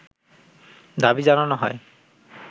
দাবি জানানো হয়